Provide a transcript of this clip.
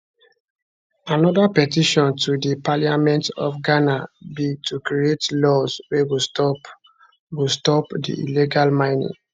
anoda petition to di parliament of ghana be to create laws wey go stop go stop di illegal mining